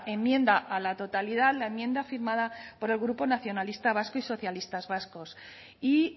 enmienda a la totalidad la enmienda firmada por el grupo nacionalista vasco y socialistas vascos y